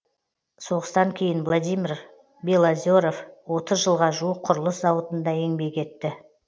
соғыстан кейін владимир белозеров отыз жылға жуық құрылыс зауытында еңбек етті